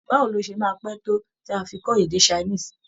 Báwo ló ṣe máa pé tó tí á fi kọ́ èdè Chinese?